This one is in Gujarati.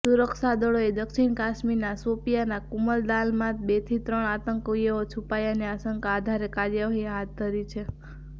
સુરક્ષાદળોએ દક્ષિણ કાશમીરના શોપિયાંના કુમદલાનમાં બેથી ત્રણ આતંકવાદીઓ છૂપાયાની આશંકાના આધારે કાર્યવાહી હાથ ધરી છે